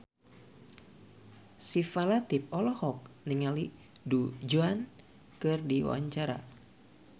Syifa Latief olohok ningali Du Juan keur diwawancara